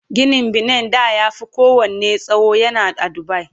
Ginin benen da ya Fi kowanne tsawo yana a Dubai